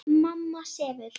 Mamma sefur.